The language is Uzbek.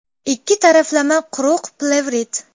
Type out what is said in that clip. Ikki taraflama quruq plevrit.